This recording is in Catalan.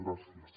gràcies